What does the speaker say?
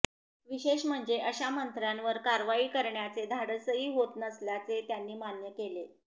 विशेष म्हणजे अशा मंत्र्यांवर कारवाई करण्याचे धाडसही होत नसल्याचे त्यांनी मान्य केले